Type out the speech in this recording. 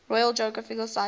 royal geographical society